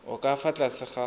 o ka fa tlase ga